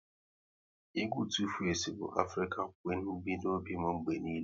Egwu Tu-face bu Afrịkan Quin bi n'obi m mgbe niile